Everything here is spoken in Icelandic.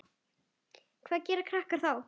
Hvað gera krakkar þá?